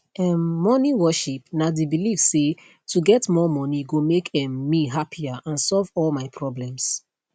um money worship na di belief say to get more money go make um me happier and solve all my problems